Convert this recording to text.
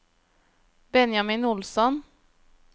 Benjamin Olsson